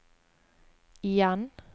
igjen